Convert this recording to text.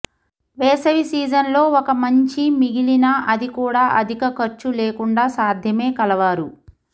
వేసవి సీజన్లో ఒక మంచి మిగిలిన అది కూడా అధిక ఖర్చు లేకుండా సాధ్యమే కలవారు